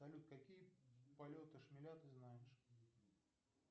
салют какие полеты шмеля ты знаешь